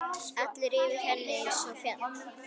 Allur yfir henni einsog fjall.